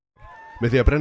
með því að brenna